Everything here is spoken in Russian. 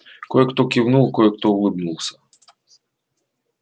кое-кто кивнул кое-кто улыбнулся